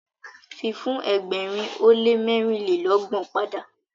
fi fun ẹgbẹrin o le mẹrinlelọgbọn pada.